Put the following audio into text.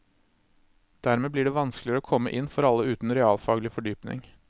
Dermed blir det vanskeligere å komme inn for alle uten realfaglig fordypning.